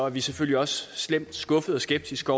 vi selvfølgelig også slemt skuffede og skeptiske